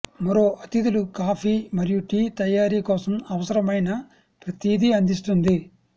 మరో అతిథులు కాఫీ మరియు టీ తయారీ కోసం అవసరమైన ప్రతిదీ అందిస్తుంది